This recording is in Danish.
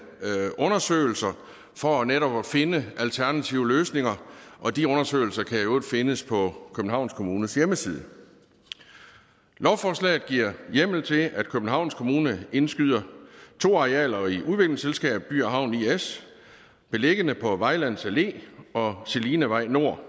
undersøgelser for netop at finde alternative løsninger og de undersøgelser kan i øvrigt findes på københavns kommunes hjemmeside lovforslaget giver hjemmel til at københavns kommune indskyder to arealer i udviklingsselskabet by havn is beliggende på vejlands allé og selinevej nord